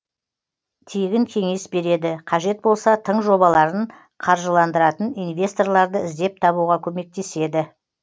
тегін кеңес береді қажет болса тың жобаларын қаржыландыратын инвесторларды іздеп табуға көмектеседі